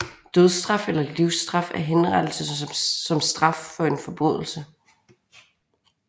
Dødsstraf eller livsstraf er henrettelse som straf for en forbrydelse